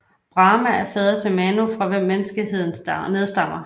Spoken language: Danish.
Brahma er fader til Manu fra hvem menneskeheden nedstammer